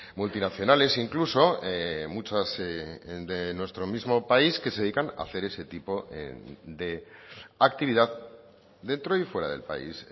multinacionales incluso muchas de nuestro mismo país que se dedican a hacer ese tipo de actividad dentro y fuera del país